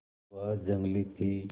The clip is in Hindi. वह जंगली थी